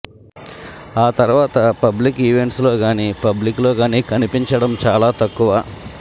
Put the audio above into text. ఆ తర్వాత public events లో గాని మరియు పబ్లిక్లో కనిపించడం గానీ చాలా తక్కువ